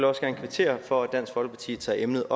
også gerne kvittere for at dansk folkeparti tager emnet